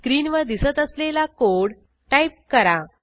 स्क्रीनवर दिसत असलेला कोड टाईप करा